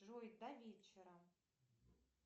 джой до вечера